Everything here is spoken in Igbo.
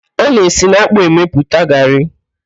A na-esi n'ákpụ́ emepụta garrị.